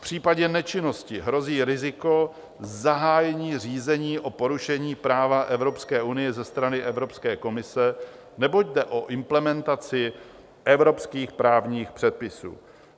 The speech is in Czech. V případě nečinnosti hrozí riziko zahájení řízení o porušení práva Evropské unie ze strany Evropské komise, neboť jde o implementaci evropských právních předpisů."